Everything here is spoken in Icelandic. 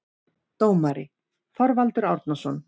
Dómari: Þorvaldur Árnason